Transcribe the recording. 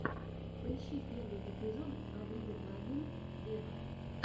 поищи первый эпизод аврил лавин вево